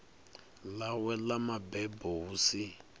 ḽawe ḽa mabebo hu si